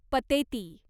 Pateti